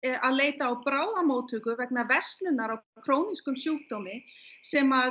að leita á bráðamóttöku vegna versnunar á krónískum sjúkdómi sem